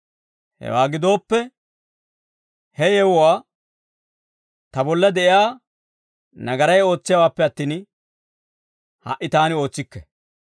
Hewaa gidooppe, he yewuwaa ta bolla de'iyaa nagaray ootsiyaawaappe attin, ha"i taani ootsikke.